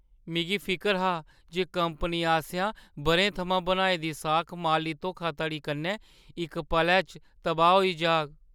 मिगी फिकर हा जे कंपनी आसेआ बʼरें थमां बनाई दी साख माली धोखाधड़ी कन्नै इक पलै च तबाह् होई जाग।